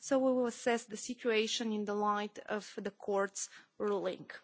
We will assess the situation in the light of the court's ruling.